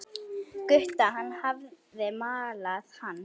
Gutta, hann hafði malað hann.